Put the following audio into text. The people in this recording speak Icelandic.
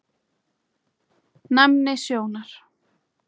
Næmni sjónar